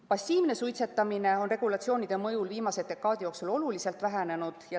Passiivne suitsetamine on regulatsioonide mõjul viimase dekaadi jooksul oluliselt vähenenud.